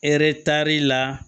Hɛrɛ tari la